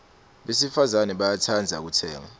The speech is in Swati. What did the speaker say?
besifazane bayatsandza kutsenga